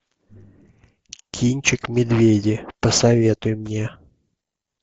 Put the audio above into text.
кинчик медведи посоветуй мне